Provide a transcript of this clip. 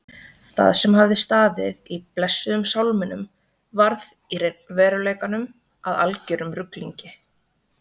Það sem hafði staðið í blessuðum sálminum varð í veruleikanum að algerum ruglingi.